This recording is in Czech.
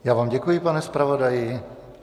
Já vám děkuji, pane zpravodaji.